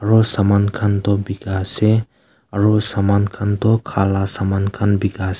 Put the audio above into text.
aro saman khan toh bikaase aro saman khan toh khala saman bikaase.